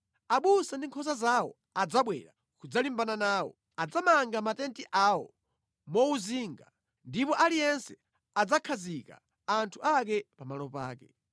Abusa ndi nkhosa zawo adzabwera kudzalimbana nawo; adzamanga matenti awo mowuzinga, ndipo aliyense adzakhazika anthu ake pamalo pake.”